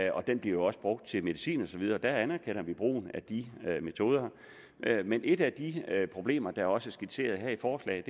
og den bliver også brugt til medicin og så videre der anerkender vi brugen af de metoder men et af de problemer der også er skitseret her i forslaget